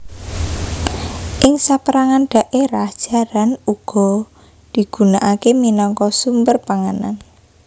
Ing sapérangan dhaérah jaran uga digunaaké minangka sumber panganan